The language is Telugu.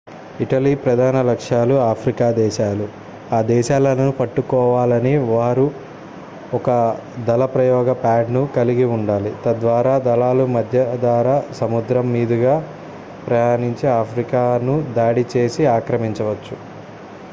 ఇటలీ ప్రధాన లక్ష్యాలు ఆఫ్రికా దేశాలు ఆ దేశాలను పట్టుకోవాలని వారు ఒక దళప్రయోగ ప్యాడ్ ను కలిగి ఉండాలి తద్వారా దళాలు మధ్యధరా సముద్రం మీదుగా ప్రయాణించి ఆఫ్రికాను దాడి చేసి ఆక్రమించవచ్చు